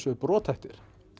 eru brothættir